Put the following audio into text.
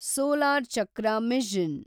solar ಚಕ್ರ mission